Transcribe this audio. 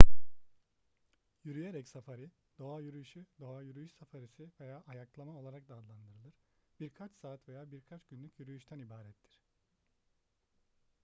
yürüyerek safari doğa yürüyüşü doğa yürüyüş safarisi veya ayaklama olarak da adlandırılır birkaç saat veya birkaç günlük yürüyüşten ibarettir